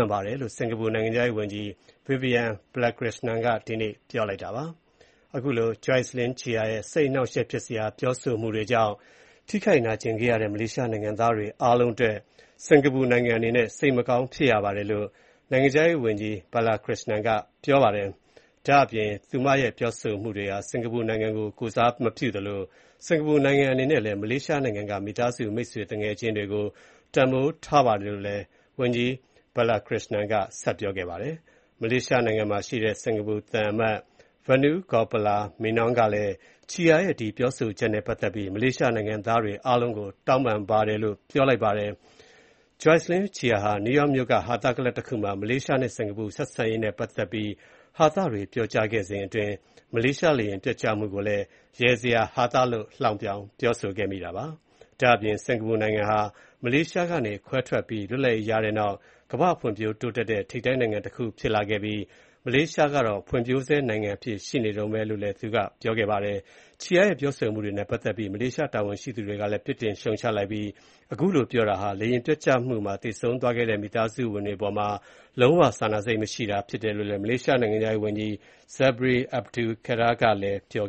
န်တယ်လို့ စင်ကာပူနိုင်ငံခြားရေးဝန်ကြီး Vivian Balakrishnan က ဒီနေ့ပြောလိုက်ပါတယ်။ အခုလို Jocelyn Chia ရဲ့ စိတ်အနှောက်အယှ့က်ဖြစ်စရာ ပြောဆိုမှုတွေကြောင့် ထိခိုက်နာကျင်ခဲ့ရတဲ့ မလေးရှား နိုင်ငံသားတွေအားလုံး အတွက် စင်ကာပူနိုင်ငံအနေနဲ့ စိတ်မကောင်းဖြစ်ရပါတယ်လို့ နိုင်ငံခြားရေးဝန်ကြီး Balakrishnan က ပြောပါတယ်။ ဒါ့အပြင် သူမရဲ့ ပြောဆိုမှုတွေဟာ စင်ကာပူနိုင်ငံကို ကိုယ်စားမပြုသလို၊ စင်ကာပူနိုင်ငံအနေနဲ့လည်း မလေးရှားနိုင်ငံက မိသားစု၊ မိတ်ဆွေသူငယ်ချင်းတွေကို တန်းဖိုးထားတယ်လို့လည်း ဝန်ကြီး Balakrishnan က ပြောပါတယ်။ မလေးရှားနိုင်ငံဆိုင်ရာ စင်ကာပူသံအမတ်ကြီး Vanu Gopala Menon ကလည်း Chia ရဲ့ ဒီပြောဆိုချက်နဲ့ ပတ်သက်ပြီး မလေးရှားနိုင်ငံသားတွေ အားလုံးကို တောင်းပန်တယ်လို့ ပြောလိုက်ပါတယ်။ Jocelyn Chia ဟာ နယူးယောက်မြို့က ဟာသကလပ်တခုမှာ မလေးရှာနဲ့ စင်ကာပူ ဆက်ဆံရေးနဲ့ ပတ်သက်ပြီး ဟာသတွေ ပြောကြားခဲ့စဉ်အတွင်း မလေးရှားလေယာဉ်ပျက်ကျမှုကိုလည်း ရယ်စရာဟာသလုပ် ပြောခဲ့တာပါ။ ဒါ့အပြင် စင်ကာပူနိုင်ငံဟာ မလေးရှားကနေ ခွဲထွက်ပြီး လွတ်လပ်ရေးရပြီးတဲ့နောက် ကမ္ဘာ့ဖွံဖြိုးတိုးတက်တဲ့ ထိပ်တန်းနိုင်ငံတခု ဖြစ်လာခဲ့ပြီး၊ မလေးရှားနိုင်ငံကတော့ ဖွံ့ဖြိုးဆဲနိုင်ငံအဖြစ်ရှိနေတုန်းပဲလို့လည်း ပြောခဲ့ပါတယ်။ Chia ရဲ့ ပြောဆိုမှုတွေပတ်သက်လို့ မလေးရှားတာဝန်ရှိသူတွေကလည်း ပြစ်တင်ရှုတ်ချလိုက်ပြီး၊ အခုလိုပြောတာဟာ လေယာဉ်ပျက်ကျမှုမှာ သေဆုံးသွားတဲ့ မိသားစုဝင်တွေအပေါ်မှာ လုံးဝစာနာစိတ်မရှိတာဖြစ်တယ်လို့ မလေးရှားနိုင်ငံခြားရေးဝန်ကြီး Zambry Abdul Kadir ကလည်း ပြော